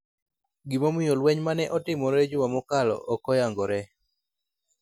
Gimomiyo lweny ma ne otimore juma mokalo ok oyangore,